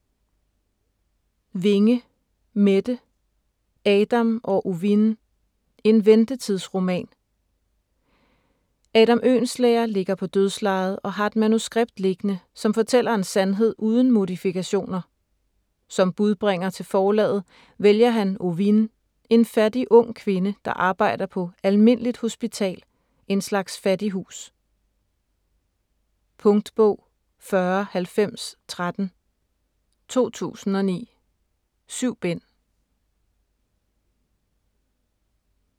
Winge, Mette: Adam og Ovine: en ventetidsroman Adam Oehlenschläger ligger på dødslejet og har et manuskript liggende, som fortæller en sandhed uden modifikationer. Som budbringer til forlaget vælger han Ovine, en fattig ung kvinde, der arbejder på "Almindeligt Hospital" - en slags fattighus. Punktbog 409013 2009. 7 bind.